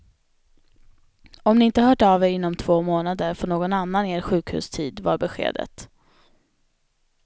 Om ni inte hört av er inom två månader får någon annan er sjukhustid, var beskedet.